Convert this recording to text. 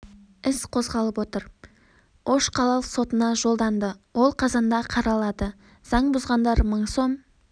іс қозғалып отыр іс ош қалалық сотына жолданды ол қазанда қаралады заң бұзғандар мың сом